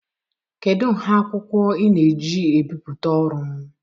Kedu nha akwụkwọ ị na-eji ebipụta ọrụ m?